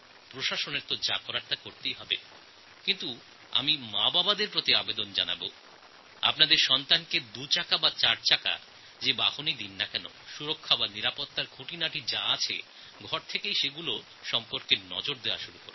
প্রশাসনের যে কাজ করা উচিত তা তো তাঁরা করবেনই কিন্তু আমি মাবাবাদের অনুরোধ জানাব আপনার সন্তান টুহুইলার চালাক বা ফোরহুইলার সাবধানতার জন্য সমস্ত প্রচেষ্টা পরিবারের তরফেই হওয়া উচিত